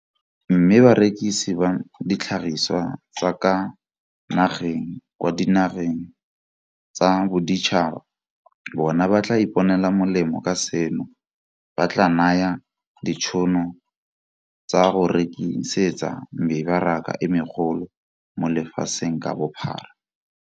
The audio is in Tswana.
Mme barekisi ba ditlhagisiwa tsa ka fa nageng kwa dinageng tsa boditšhaba bona ba tla iponela molemo ka seno se tla ba naya ditšhono tsa go rekisetsa mebaraka e megolo mo lefatsheng ka bophara.